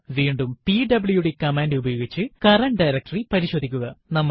വീണ്ടും PWD command ഉപയോഗിച്ച് current directory പരിശോധിക്കുക